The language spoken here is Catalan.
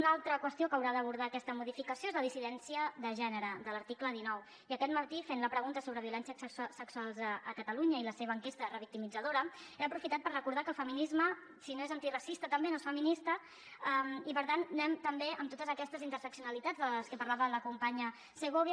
una altra qüestió que haurà d’abordar aquesta modificació és la dissidència de gènere de l’article dinou i aquest matí fent la pregunta sobre violència sexual a catalunya i la seva enquesta revictimitzadora he aprofitat per recordar que el feminisme si no és antiracista també no és feminista i per tant anem també amb totes aquestes interseccionalitats de les que parlava la companya segovia